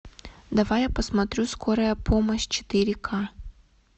давай я посмотрю скорая помощь четыре ка